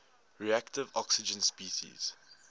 reactive oxygen species